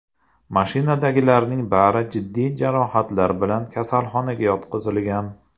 Mashinadagilarning bari jiddiy jarohatlar bilan kasalxonaga yotqizilgan.